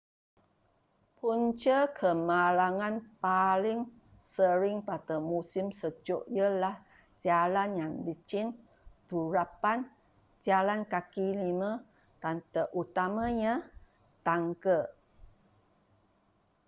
punca kemalangan paling sering pada musim sejuk ialah jalan yang licin turapan jalan kaki lima dan terutamanya tangga